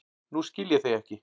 Nú skil ég þig ekki.